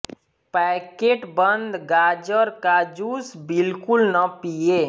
packet बंद गाजर का जूस बिल्कुल न पिएं